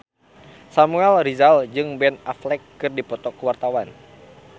Samuel Rizal jeung Ben Affleck keur dipoto ku wartawan